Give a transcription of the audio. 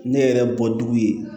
Ne yɛrɛ bɔ dugu ye